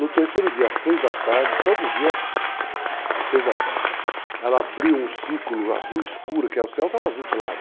No terceiro dia, às 3 da tarde, todo dia, às 3 da tarde, ela abriu um círculo azul escuro, que é o céu estava azul claro,